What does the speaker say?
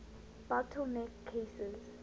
bottle neck cases